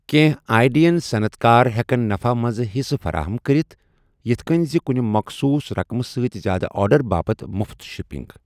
کینٛہہ آی ڈین صنعت کار ہٮ۪کَن نفع منٛز حِصہٕ فراہم کٔرِتھ، یِتھ کٔنۍ زِ کُنہِ مخصوٗص رقمہٕ سۭتۍ زِیٛادٕ آرڈر باپتھ مُفت شپنٛگ۔